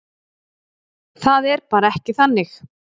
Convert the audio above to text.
Það er bara ekki þannig.